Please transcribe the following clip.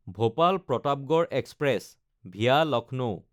Bhopal-Pratapgarh express (VA Lucknow)